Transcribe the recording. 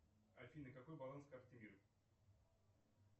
афина какой баланс карты мир